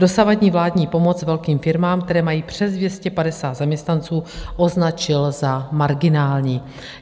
Dosavadní vládní pomoc velkým firmám, které mají přes 250 zaměstnanců, označila za marginální."